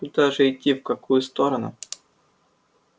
куда же идти в какую сторону